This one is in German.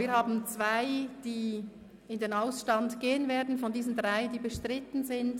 Wir haben zwei, die in den Ausstand gehen werden von diesen drei, die bestritten sind.